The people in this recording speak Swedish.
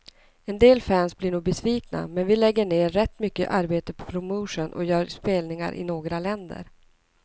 En del fans blir nog besvikna, men vi lägger ner rätt mycket arbete på promotion och gör spelningar i några länder.